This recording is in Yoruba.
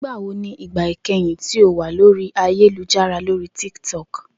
Nigbawo ni igba ikẹhin ti o wa lori ayelujara lori Tik Tok?